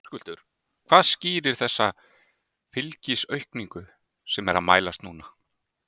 Höskuldur: Hvað skýrir þessa fylgisaukningu sem er að mælast núna?